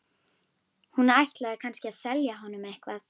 Hún ætlaði kannski að selja honum eitthvað.